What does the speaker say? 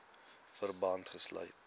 verband gesluit